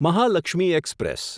Mahalakshmi express